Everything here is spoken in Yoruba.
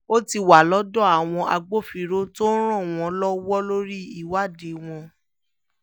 ó ti wà lọ́dọ̀ àwọn agbófinró tó ń ràn wọ́n lọ́wọ́ lórí ìwádìí wọn